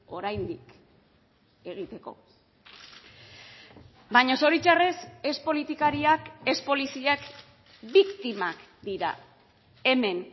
oraindik egiteko baina zoritxarrez ez politikariak ez poliziak biktimak dira hemen